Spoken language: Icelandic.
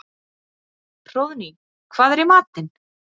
Hróðný, hvað er í matinn?